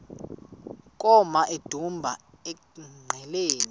koma emdumbi engqeleni